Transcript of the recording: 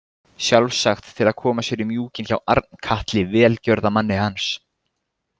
Sjálfsagt til að koma sér í mjúkinn hjá Arnkatli, velgjörðamanni hans.